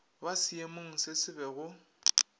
ba seemong se sebe go